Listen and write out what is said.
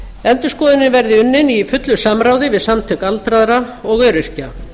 endurskoðunin verði unnin í fullu samráði við samtök aldraðra og öryrkja